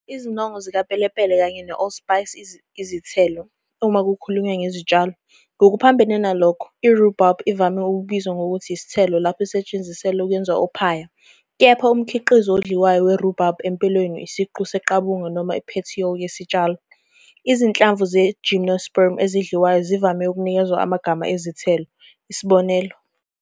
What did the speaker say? Izinongo zikapelepele kanye ne- allspice izithelo, uma kukhulunywa ngezitshalo. Ngokuphambene nalokho, i- rhubarb ivame ukubizwa ngokuthi isithelo lapho isetshenziselwa ukwenza ophaya, kepha umkhiqizo odliwayo we-rhubarb empeleni isiqu seqabunga noma i- petiole yesitshalo. Izinhlamvu ze- gymnosperm ezidliwayo zivame ukunikezwa amagama ezithelo, isb.